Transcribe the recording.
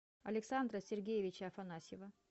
александра сергеевича афанасьева